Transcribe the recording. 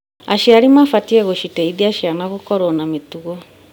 Aciari mabatiĩ gũciteithia ciana gũkorwo na mĩtugo.